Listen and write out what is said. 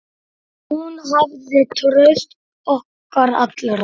Hún hafði traust okkar allra.